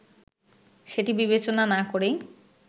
সেটি বিবেচনা না করেই